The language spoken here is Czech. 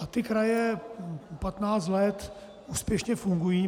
A ty kraje patnáct let úspěšně fungují.